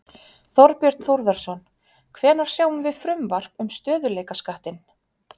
Þorbjörn Þórðarson: Hvenær sjáum við frumvarp um stöðugleikaskattinn?